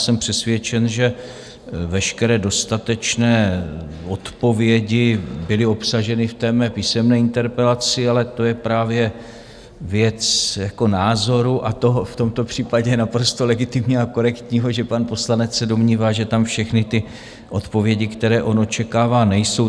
Jsem přesvědčen, že veškeré dostatečné odpovědi byly obsaženy v mé písemné interpelaci, ale to je právě věc názoru a toho, v tomto případě naprosto legitimního a korektního, že pan poslanec se domnívá, že tam všechny ty odpovědi, které on očekává, nejsou.